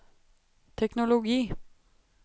teknologi